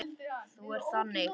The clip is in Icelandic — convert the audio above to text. Þú ert þannig.